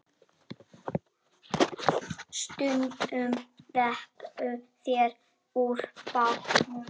Stundum veiddu þeir úr bátnum.